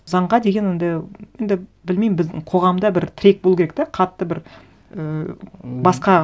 заңға деген енді енді білмеймін біздің қоғамда бір тірек болу керек те қатты бір ііі басқа